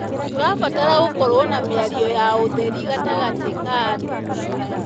Tũrabatra gũkorwo na mĩario ya ũtheri gatagatĩ ka andũ.